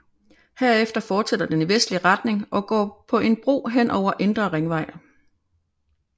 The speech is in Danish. Herefter fortsætter den i vestlig retning og går på en bro hen over Indre Ringvej